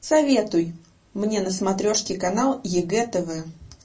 советуй мне на смотрешке канал егэ тв